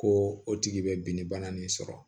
Ko o tigi bɛ binni bana nin sɔrɔ